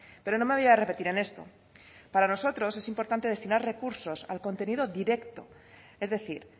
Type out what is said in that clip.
pero no me voy a repetir en esto para nosotros es importante destinar recursos al contenido directo es decir